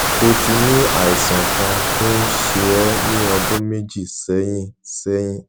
ó ti ní àìsàn kan tó ń ṣe é ní ọdún méjì sẹyìn sẹyìn